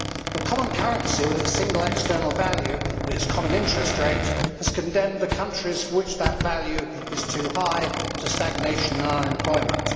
The common currency with its single external value and its common interest rate has condemned the countries for which that value is too high to stagnation and unemployment.